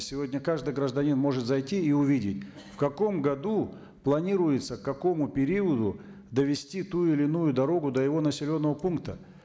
сегодня каждый гражданин может зайти и увидеть в каком году планируется к какому периоду довести ту или иную дорогу до его населенного пункта